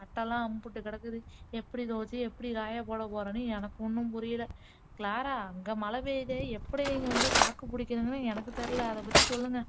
சட்டையெல்லாம் அம்புட்டு கிடக்குது எப்படி துவச்சு எப்படி காய போட போறேன்னு எனக்கு ஒண்ணும் புரியல க்ளாரா அங்க மழை பெய்யுதே எப்படி நீங்க தாக்கு புடிக்கிறீங்கன்னு எனக்கு தெரியல அதை பத்தி சொல்லுங்க